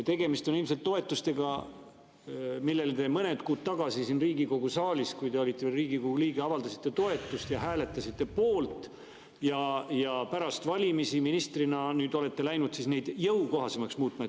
Tegemist on ilmselt toetustega, millele te mõned kuud tagasi siin Riigikogu saalis, kui te olite veel Riigikogu liige, toetust avaldasite ja mille poolt te hääletasite, ja pärast valimisi olete ministrina läinud neid jõukohasemaks muutma.